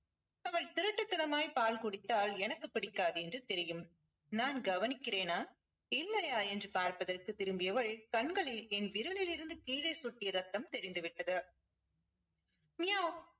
திருட்டுத்தனமாய் பால் குடித்தால் எனக்கு பிடிக்காது என்று தெரியும் நான் கவனிக்கிறேனா இல்லையா என்று பார்ப்பதற்கு திரும்பியவள் கண்களில் என் விரலில் இருந்து கீழே சொட்டிய ரத்தம் தெரிந்து விட்டது மியாவ்